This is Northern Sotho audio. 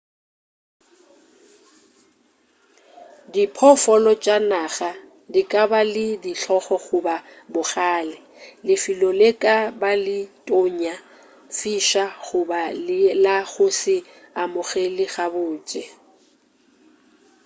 diphoofolo tša naga di ka ba le dihlong goba bogale lefelo le ka ba le tonya fiša goba e le la go se amogele gabotse